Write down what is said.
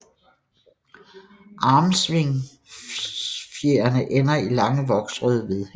Armsvingfjerene ender i lange voksrøde vedhæng